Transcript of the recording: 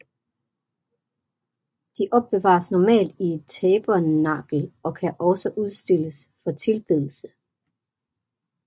De opbevares normalt i et tabernakel og kan også udstilles for tilbedelse